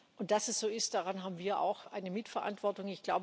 Und dass es so ist, daran haben wir auch eine Mitverantwortung.